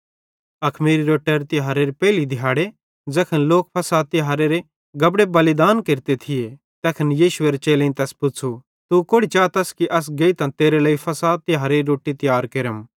अखमीरी रोट्टारे तिहारेरी पेइली दिहाड़ी ज़ैखन लोक फ़सहेरे तिहारेरे गबड़े बलिदान केरते थिये तैखन यीशुएरे चेलेईं तैस पुच़्छ़ू तू कोड़ि चातस कि अस गेइतां तेरे लेइ फ़सह तिहारेरी रोट्टी तियार केरम